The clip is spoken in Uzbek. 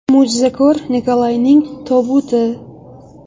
Mo‘jizakor Nikolayning tobuti.